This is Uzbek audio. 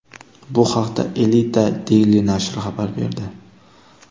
Bu haqda Elite daily nashri xabar berdi .